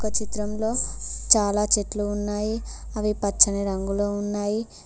చిత్రంలో చాలా చెట్లు ఉన్నాయి అవి పచ్చని రంగులో ఉన్నాయి.